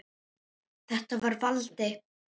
Þetta var Valdi.